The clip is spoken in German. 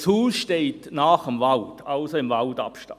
Das Haus steht nahe am Wald, also im Waldabstand.